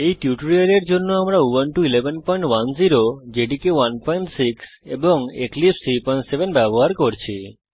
এই টিউটোরিয়ালের জন্য আমরা উবুন্টু 1110 জেডিকে 16 এবং এক্লিপসে 37 ব্যবহার করছি